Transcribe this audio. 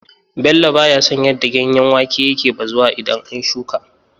Bello ba ya son yadda ganyen wake yake bazuwa idan an shuƙa.